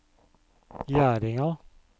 Gjerdinga